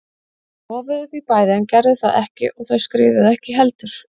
Þau lofuðu því bæði en gerðu það ekki og þau skrifuðu ekki heldur.